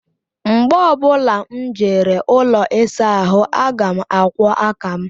Mgbe ọ bụla m jere ụlọ ịsa ahụ aga m akwọ aka m